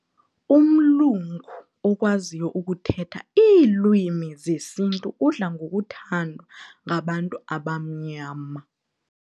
Umlungu okwaziyo ukuthetha iilwimi zesintu udla ngokuthandwa ngabantu abamnyama.